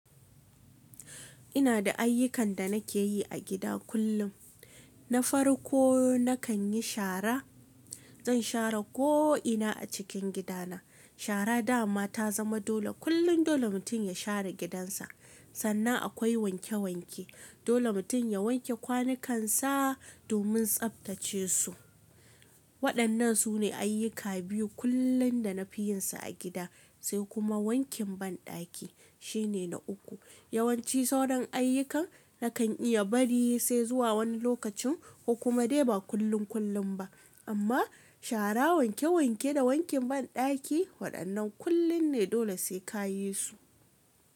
Ina da ayyukan da nake yi a gida kullum. Na farko nakan yi shara. Zan shara ko ina a cikin gida na. Shara dama ta zama dole kullum dole mutum ya shara gidan sa. Sannan akwai wanke wanke. Dole mutum ya wanke kwanukansa domin tsabtace su. Waɗannan su ne ayyuka biyu kullum da na fi yin su a gida, sai kuma wankin banɗaki shine na uku. Yawanci sauran ayyukan nakan iya bari yi sai zuwa wani lokacin ko kuma dai ba kullum kullum ba. Amma shara, wanke wanke da wankin banɗaki waɗannan kullum ne dole sai ka yi su.